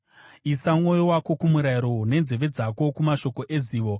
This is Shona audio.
Isa mwoyo wako kumurayiro nenzeve dzako kumashoko ezivo.